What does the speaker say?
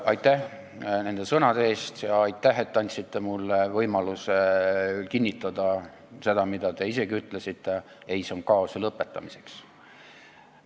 Aitäh nende sõnade eest ja aitäh, et te andsite mulle võimaluse kinnitada seda, mida te isegi tegelikult ütlesite: ei, see on kaose lõpetamiseks.